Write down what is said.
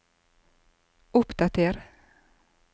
oppdater